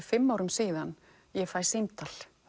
fimm árum síðan ég fæ símtal